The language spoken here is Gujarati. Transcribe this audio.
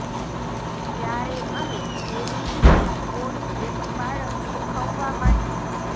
ક્યારે અને કેવી રીતે પોટ એક બાળક શીખવવા માટે